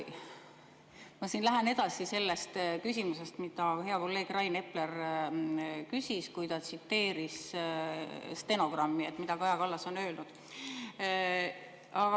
Ma lähen edasi sellest küsimusest, mida hea kolleeg Rain Epler küsis, kui ta tsiteeris stenogrammist, mida Kaja Kallas on öelnud.